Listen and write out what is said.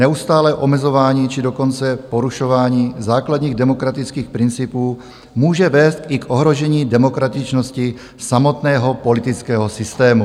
Neustálé omezování, či dokonce porušování základních demokratických principů může vést i k ohrožení demokratičnosti samotného politického systému.